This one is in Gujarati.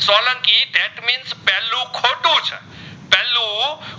પેહલુ